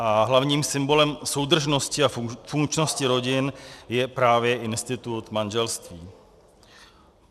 A hlavním symbolem soudržnosti a funkčnosti rodin je právě institut manželství.